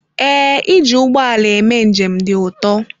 Ee, iji ụgbọ ala eme njem dị ụtọ.